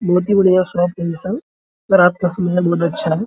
बहुत ही बढियाँ शॉप है इ सब रात का समय है बहुत अच्छा है ।